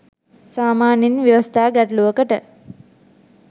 සාමාන්‍යයෙන් ව්‍යවස්ථා ගැටලූවකට